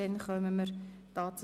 – Das ist nicht der Fall.